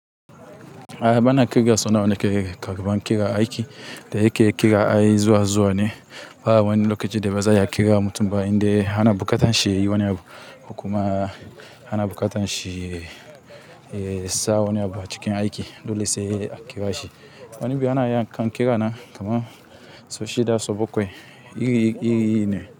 A bana ƙirga so nawa nake ƙarɓan ƙira a aiki, da yake ƙira ai zuwa zuwa ne, ba wani lokaci da ba za a iya ƙira mutum ba inda ana buƙatar shi yiwane abu, ko kuma ana buƙatar shi ya sa wani abu a cikin aiki dole sai a ƙira shi. Wani bi ana iya kan kira na kamar so shida, so bakwai, iri-iri ne.